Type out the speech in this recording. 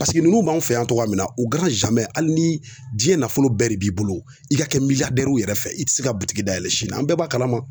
ninnu b'an fɛ yan cogoya min na u hali ni diɲɛ nafolo bɛɛ de b'i bolo i ka kɛ miliyɔn yɛrɛ fɛ i tɛ se ka butigi dayɛlɛ sini an bɛɛ b'a kalama